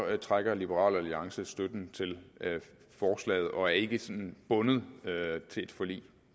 trækker liberal alliance støtten til forslaget og er ikke sådan bundet af et forlig